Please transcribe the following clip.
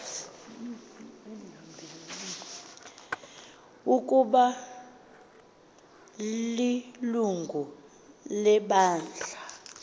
ukaba ilungu lebandla